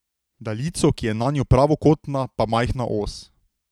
Daljico, ki je nanjo pravokotna, pa majhna os.